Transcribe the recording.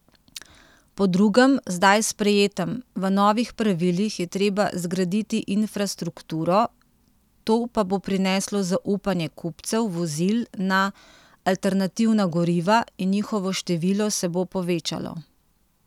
Po drugem, zdaj sprejetem v novih pravilih, je treba zgraditi infrastrukturo, to pa bo prineslo zaupanje kupcev vozil na alternativna goriva in njihovo število se bo povečalo.